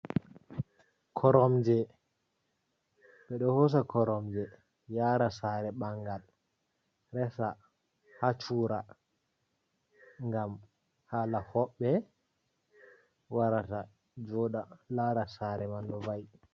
Koromje, ɓeɗo hosa koromje yara sare bangal resa hacura gam hala hobbe warata joda lara sare man no va'i.